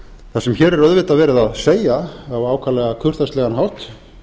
það sem hér er auðvitað verið að segja á ákaflega kurteislegan hátt